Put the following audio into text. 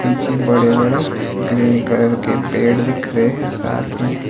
पीछे बड़े बड़े ग्रीन कलर के पेड़ दिख रहे हैं साथ में--